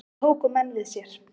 Þá tóku menn við sér!